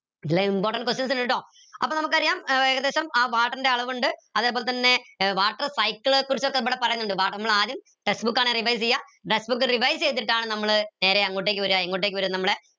ഇതിൽ important questions ഇണ്ട് ട്ടോ അപ്പോ നമുക്കറിയാം ഏർ ഏകദേശം ആ water ൻ്റെ അളവുണ്ട് അതേപോലെതന്നെ water cycle കുറിച്ചൊക്കെ ഇവിടെ പറയുന്നുണ്ട് water നമ്മളാദ്യം textbook ആണ് revise എയ textbook revise എയ്തിട്ടാണ് നമ്മൾ നേരെ എങ്ങോട്ടേക്ക് വര എങ്ങോട്ടേക്ക് വര